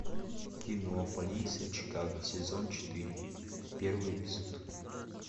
кино полиция чикаго сезон четыре первый эпизод